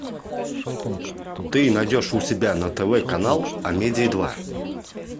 ты найдешь у себя на тв канал амедиа два